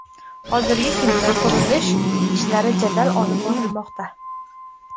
Hozirgi kunda qurilish ishlari jadal olib borilmoqda.